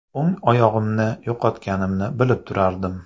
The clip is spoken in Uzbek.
O‘ng oyog‘imni yo‘qotganimni bilib turardim.